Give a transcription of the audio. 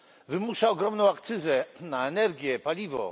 Wymusza ogromną akcyzę na energię, paliwo.